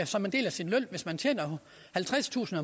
som en del af sin løn hvis man tjener halvtredstusind